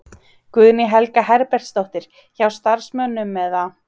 Guðný Helga Herbertsdóttir: Hjá starfsmönnum eða?